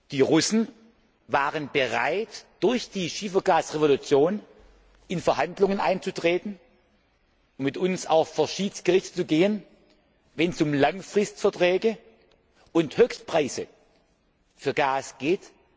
Die Russen waren durch die Schiefergasrevolution bereit, in Verhandlungen einzutreten, mit uns auch vor das Schiedsgericht zu gehen, wenn es um Langfristverträge und Höchstpreise für Gas geht.